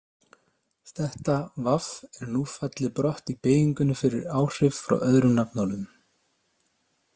Þetta- v- er nú fallið brott í beygingunni fyrir áhrif frá öðrum nafnorðum.